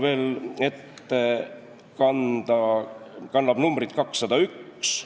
Protokoll kannab numbrit 201.